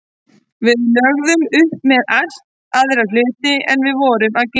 Við lögðum upp með allt aðra hluti en við vorum að gera.